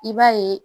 I b'a ye